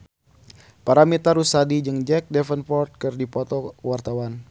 Paramitha Rusady jeung Jack Davenport keur dipoto ku wartawan